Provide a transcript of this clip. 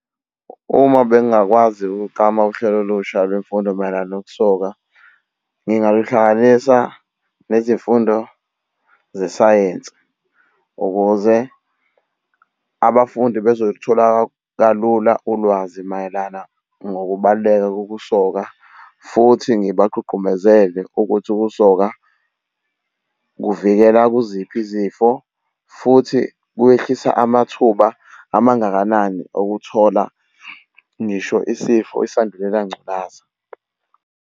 Uma bengingakwazi ukuklama uhlelo olusha lwemfundo mayelana nokusoka, ngingaluhlanganisa nezimfundo zesayensi ukuze abafundi bezolithola kalula ulwazi mayelana ngokubaluleka kokusoka, futhi ngibagqugqumezele ukuthi ukusoka kuvikela kuziphi izifo futhi kwehlisa amathuba amangakanani okuthola ngisho isifo isandulela ngculaza.